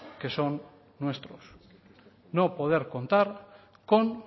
que son nuestros no poder contar con